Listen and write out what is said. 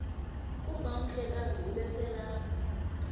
kuba umhlekazi ubeselelapha